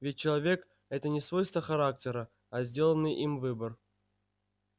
ведь человек это не свойство характера а сделанный им выбор